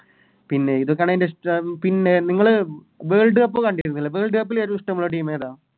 പിന്നെ ഇതൊക്കെയാണെൻറെ ഇഷ്ട്ടം പിന്നെ നിങ്ങള് Worldcup കണ്ടിരുന്നില്ല Worldcup ല് ഏറ്റോം ഇഷ്ട്ടമുള്ള Team ഏതാ